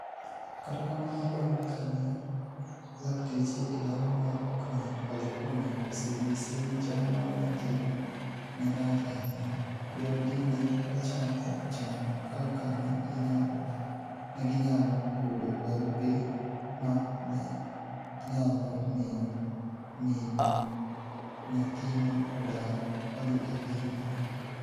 Kata kamano, banig' kani e lakteche e dala mar Oaklanid, Californiia, oseniyise nii chal mar niyathino ni e rach ahiniya, joodgi ni e ochako chano kaka ni e giniyalo yudo barupe ma ni e niyalo miyo mini niyathino odar odhi e piniy Amerka.